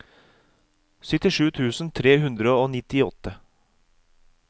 syttisju tusen tre hundre og nittiåtte